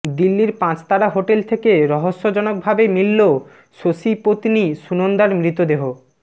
দিল্লির পাঁচতারা হোটেল থেকে রহস্যজনকভাবে মিলল শশী পত্নী সুনন্দার মৃতদেহ